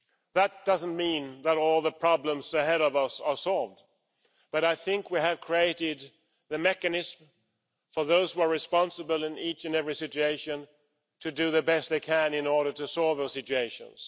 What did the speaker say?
That doesn't mean that all the problems ahead of us are solved, but I think we have created the mechanism for those who are responsible in each and every situation to do the best they can in order to solve those situations.